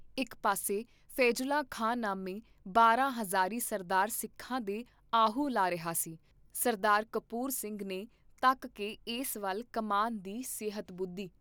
ਇਕ ਪਾਸੇ ਫ਼ੈਜੁੱਲਾ ਖਾਂ ਨਾਮੇ ਬਾਰਾਂ ਹਜ਼ਾਰੀ ਸਰਦਾਰ ਸਿੱਖਾਂ ਦੇ ਆਹੂ ਲਾਹ ਰਿਹਾ ਸੀ, ਸਰਦਾਰ ਕਪੂਰ ਸਿੰਘ ਨੇ ਤੱਕ ਕੇ ਇਸ ਵੱਲ ਕਮਾਨ ਦੀ ਸਿਹਤ ਬੁੱਧੀ।